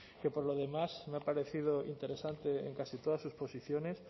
que por lo demás me ha parecido interesante en casi todas sus posiciones